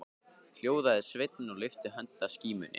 Hljóðaði sveinninn og lyfti höndinni að skímunni.